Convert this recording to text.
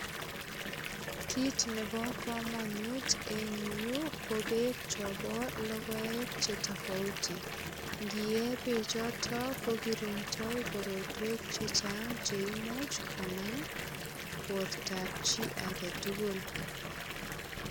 Kit nebo kamanut en yu ko beek chobo logoek che tafauti. Ngiye beechito ko kiringndoi korotwek che chang che imuch konam bortab chi agetugul.